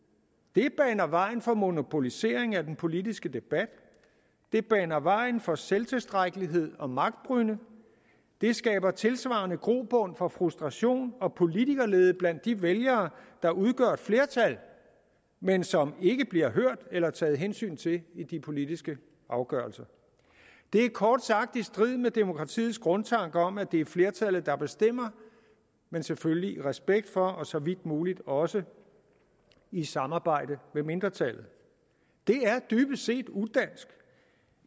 det baner vejen for monopolisering af den politiske debat det baner vejen for selvtilstrækkelighed og magtbrynde det skaber tilsvarende grobund for frustration og politikerlede blandt de vælgere der udgør et flertal men som ikke bliver hørt eller taget hensyn til i de politiske afgørelser det er kort sagt i strid med demokratiets grundtanke om at det er flertallet der bestemmer men selvfølgelig i respekt for og så vidt muligt også i samarbejde med mindretallet det er dybest set udansk